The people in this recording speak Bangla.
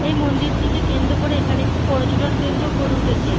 এই মন্দিরটিকে কেন্দ্র করে এখানে একটু পর্যটন কেন্দ্র গড়ে উঠেছে।